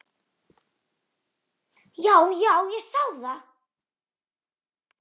Já, já, ég sá það.